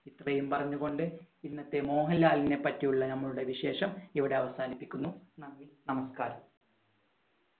ഇത്രയും പറഞ്ഞുകൊണ്ട് ഇന്നത്തെ മോഹൻലാലിനെ പറ്റിയുള്ള നമ്മുടെ വിശേഷം ഇവിടെ അവസാനിപ്പിക്കുന്നു നന്ദി! നമസ്കാരം.